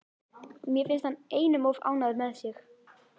Mér finnst hann einum of ánægður með sig.